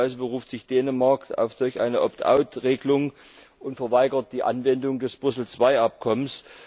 Beispielsweise beruft sich Dänemark auf solch eine Opt out Regelung und verweigert die Anwendung des Brüssel II Abkommens.